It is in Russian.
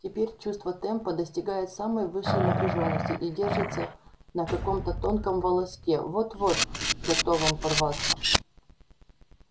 теперь чувство темпа достигает самой высшей напряжённости и держится на каком-то тонком волоске вот-вот готовом порваться